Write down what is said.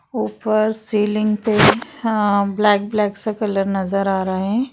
ऊपर सीलिंग पे हा-आ-ब्लैक ब्लैक सा कलर नजर आ रहे है ।